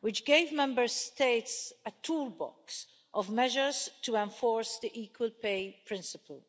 which gave Member States a toolbox of measures to enforce the equal pay principle.